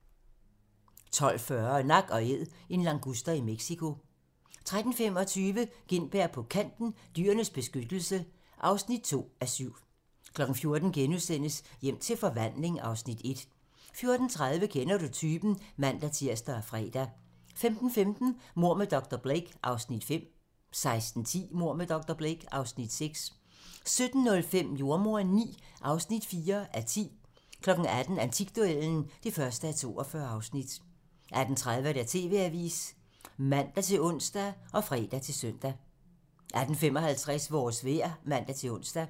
12:40: Nak & Æd - en languster i Mexico 13:25: Gintberg på Kanten – Dyrenes Beskyttelse (2:7) 14:00: Hjem til forvandling (Afs. 1)* 14:30: Kender du typen? (man-tir og fre) 15:15: Mord med dr. Blake (Afs. 5) 16:10: Mord med dr. Blake (Afs. 6) 17:05: Jordemoderen IX (4:10) 18:00: Antikduellen (1:42) 18:30: TV-avisen (man-ons og fre-søn) 18:55: Vores vejr (man-ons)